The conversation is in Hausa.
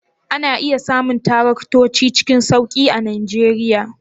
Ana iya samun taraktoci cikin sauki a Najeriya?